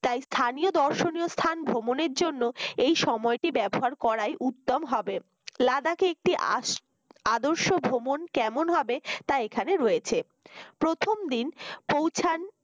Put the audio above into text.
তাই স্থানীয় দর্শনীয় স্থান ভ্রমণের জন্য এই সময়টির ব্যবহার করাই উত্তম হবে লাদাকে একটি আস আদর্শ ভ্রমণ কেমন হবে তা এখানে রয়েছে প্রথম দিন পৌঁছান